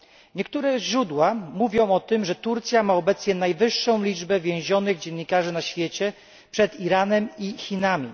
Niektóre źródła mówią o tym, że Turcja ma obecnie najwyższą liczbę więzionych dziennikarzy na świecie przed Iranem i Chinami.